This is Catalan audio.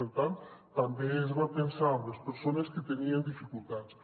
per tant també es va pensar en les persones que tenien dificultats